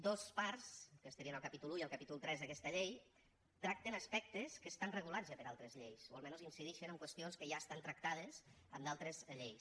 dos parts que estarien al capítol i i al capítol iii d’aquesta llei tracten aspectes que estan regulats ja per altres lleis o almenys incidixen en qüestions que ja estan tractades en altres lleis